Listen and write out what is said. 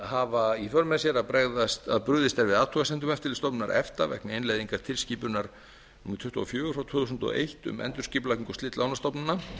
hafa í för með sér að brugðist er við athugasemdum eftirlitsstofnunar efta vegna innleiðingar tilskipunar númer tuttugu og fjögur tvö þúsund og eitt um endurskipulagningu og slit lánastofnana